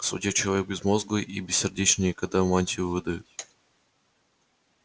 судья человек безмозглый и бессердечный ей когда мантию выдают